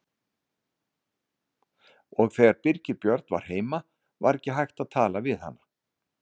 Og þegar Birgir Björn var heima var ekki hægt að tala við hana.